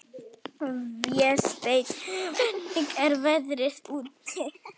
Vésteinn, hvernig er veðrið úti?